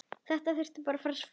Þetta þarf að fara saman.